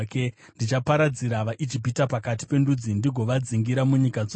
Ndichaparadzira vaIjipita pakati pendudzi ndigovadzingira munyika dzose.